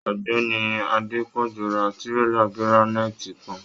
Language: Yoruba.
Ọ̀gbẹ́ni Adepọju rà tírélà giraniiti kàn.